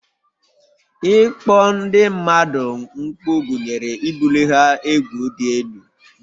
Ịkpọ ndị mmadụ mkpu gụnyere ibuli ha egwu dị elu